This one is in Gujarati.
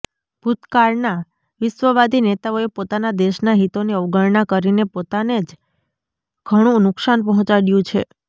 ભૂતકાળના વિશ્વવાદી નેતાઓએ પોતાના દેશનાં હિતોની અવગણના કરીને પોતાને જ ઘણું નુકસાન પહોંચાડયું છે